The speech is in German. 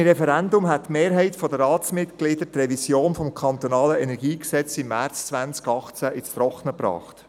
Ohne Referendum hätte die Mehrheit der Ratsmitglieder die Revision des Kantonalen Energiegesetzes (KEnG) im März 2018 ins Trockene gebracht.